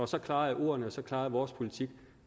så klare er ordene så klar er vores politik